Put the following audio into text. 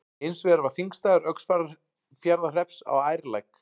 Hins vegar var þingstaður Öxarfjarðarhrepps á Ærlæk.